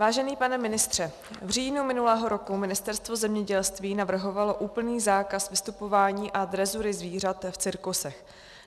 Vážený pane ministře, v říjnu minulého roku Ministerstvo zemědělství navrhovalo úplný zákaz vystupování a drezury zvířat v cirkusech.